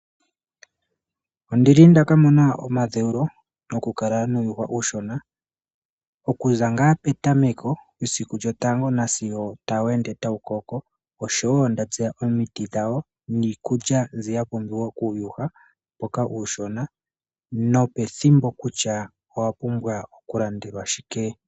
Ondili nda ka mona omadheulo nokukala nuuyuhwa uushona okuza ngaa petameko mesiku lyotango nasigo tawu ende tawu koko, oshowo nda tseya omiti dhawo niikulya mbi ya pumbiwa kuuyuhwa mboka uushona nopethimbo kutya owa pumbwa okulandelwa shike.